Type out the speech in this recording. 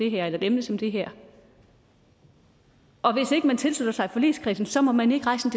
et emne som det her og hvis ikke man tilslutter sig forligskredsen så må man ikke rejse